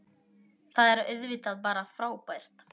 Það er auðvitað bara frábært